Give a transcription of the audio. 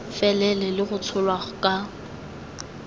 felele le go tsholwa ka